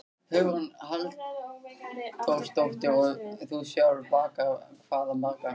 Hugrún Halldórsdóttir: Og þú sjálfur bakar hvað margar?